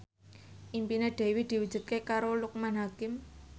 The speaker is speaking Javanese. impine Dewi diwujudke karo Loekman Hakim